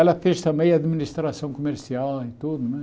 Ela fez também administração comercial eh tudo, né?